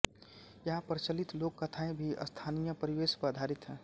यहां प्रचलित लोक कथाएँ भी स्थानीय परिवेश पर आधारित है